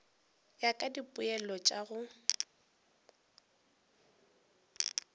ya ka dipoelo tša go